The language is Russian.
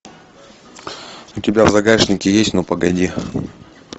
у тебя в загашнике есть ну погоди